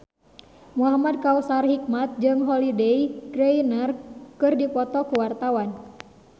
Muhamad Kautsar Hikmat jeung Holliday Grainger keur dipoto ku wartawan